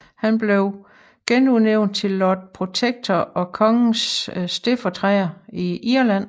Han blev genudnævnt til Lord Protector og kongens stedfortræder i Irland